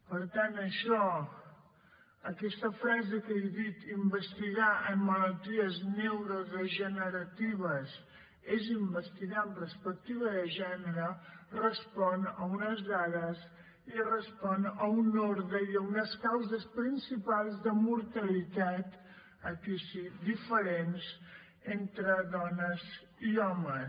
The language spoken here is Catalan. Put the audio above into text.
per tant això aquesta frase que he dit investigar en malalties neurodegeneratives és investigar amb perspectiva de gènere respon a unes dades i respon a un ordre i a unes causes principals de mortalitat aquí sí diferents entre dones i homes